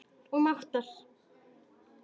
og mátar.